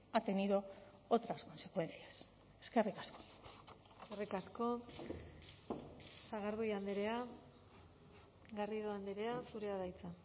ha tenido otras consecuencias eskerrik asko eskerrik asko sagardui andrea garrido andrea zurea da hitza